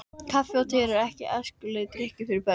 Kaffi og te eru ekki æskilegir drykkir fyrir börn.